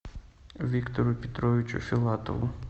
виктору петровичу филатову